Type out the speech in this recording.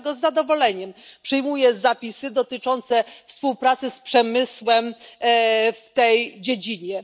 Dlatego z zadowoleniem przyjmuję zapisy dotyczące współpracy z przemysłem w tej dziedzinie.